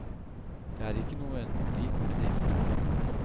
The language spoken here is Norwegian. Det er ikke noen liten bedrift.